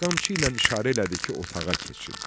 Qamçı ilə işarə elədi ki, otağa keçin.